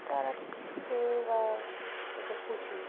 তারা খেয়ে বা অত্যন্ত খুশি